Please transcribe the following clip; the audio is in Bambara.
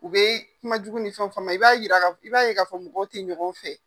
U bɛ kumajugu ni fɛnw fɔ ma i b'a ye k'a fɔ ko mɔgɔw tɛ ɲɔgɔn fɛ.